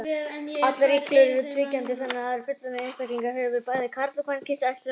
Allar iglur eru tvíkynja, þannig að hver fullorðinn einstaklingur hefur bæði karl- og kvenkyns æxlunarfæri.